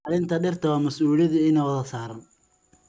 Ilaalinta dhirta waa masuuliyad ina wada saaran.